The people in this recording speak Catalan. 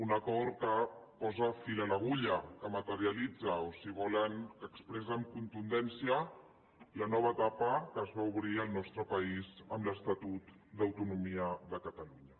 un acord que posa fil a l’agulla que materialitza o si volen que expressa amb contundència la nova etapa que es va obrir al nostre país amb l’estatut d’autonomia de catalunya